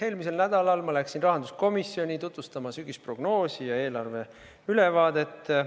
Eelmisel nädalal ma läksin rahanduskomisjoni tutvustama sügisprognoosi ja eelarve ülevaadet.